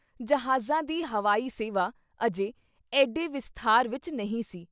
ਜਹਾਜ਼ਾਂ ਦੀ ਹਵਾਈ ਸੇਵਾ ਅਜੇ ਐਡੇ ਵਿਸਥਾਰ ਵਿੱਚ ਨਹੀਂ ਸੀ।